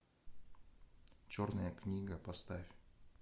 черная книга поставь